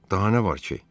Daha nə var ki?